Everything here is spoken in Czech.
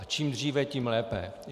A čím dříve, tím lépe.